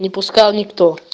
не пускал никто